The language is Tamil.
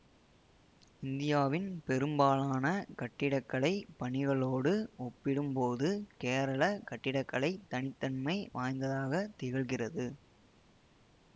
இந்தியாவின் பெரும்பாலான கட்டிட கலை பணிகளோடு ஒப்பிடும்போது கேரள கட்டிடக்கலை தனி தன்மை வாய்ந்ததாகத் திகழ்கிறது